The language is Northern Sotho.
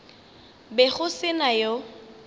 be go se na yo